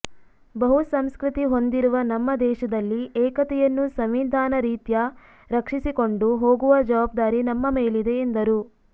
ಬಹು ಸಂಸ್ಕೃತಿ ಹೊಂದಿರುವ ನಮ್ಮ ದೇಶದಲ್ಲಿ ಏಕತೆಯನ್ನು ಸಂವಿಧಾನ ರೀತ್ಯಾ ರಕ್ಷಿಸಿಕೊಂಡು ಹೋಗುವ ಜವಬ್ದಾರಿ ನಮ್ಮ ಮೇಲಿದೆ ಎಂದರು